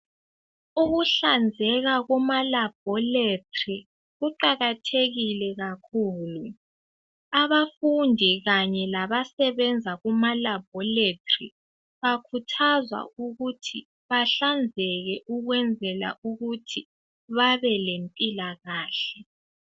Ukuhlanzeka kuma labholetri kuqakathekile kakhulu. Abafundi kanye labasebenza kuma labholetri bakhuthazwa ukuthi bahlanzeke ukwenzela ukuthi babe lempilakahle.